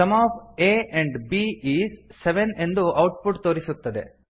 some of a and b is seven ಎಂದು output ತೋರಿಸುತ್ತದೆ